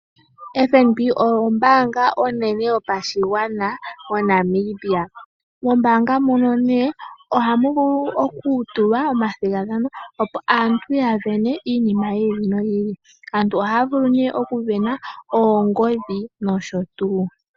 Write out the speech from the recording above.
FNB oyo ombanga onene yopashigwana moNamibia. Mombanga muno ohamu vulu okutulwa omathigatano opo aantu ya sindane iinima yi ili noyi ili, aantu ohaya vulu oku sindana oongodhi nosho tuu.